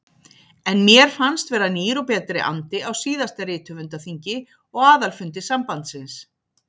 En mér fannst vera nýr og betri andi á síðasta rithöfundaþingi og aðalfundi sambandsins.